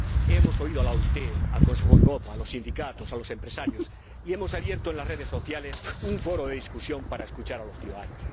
Hemos oído a la OIT, al Consejo de Europa, a los sindicatos, a los empresarios y hemos abierto en las redes sociales un foro de discusión para escuchar a los ciudadanos.